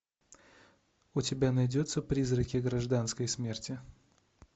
у тебя найдется призраки гражданской смерти